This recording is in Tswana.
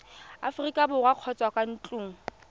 aforika borwa kgotsa kwa ntlong